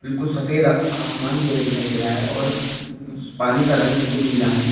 कुछ सफेद आसमान हमें दिखाई दे रहा है और पानी का रंग बिल्कुल नीला है।